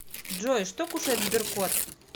джой что кушает сберкот